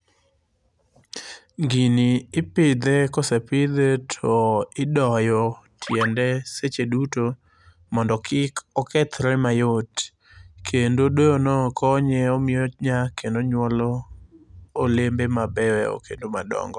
Gini ipidhe, kosepidhe to idoyo tiende seche duto mondo kik okethre mayot. Kendo doyono konye omiyo onyak kendo onyuolo olembe mabeyo kendo madongo.